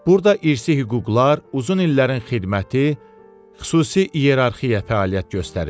Burda irsi hüquqlar, uzun illərin xidməti, xüsusi iyerarxiya fəaliyyət göstərir.